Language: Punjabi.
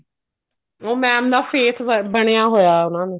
ਉਹ mam ਦਾ face ਬਣਿਆ ਹੋਇਆ ਉਹਨਾ ਨੂੰ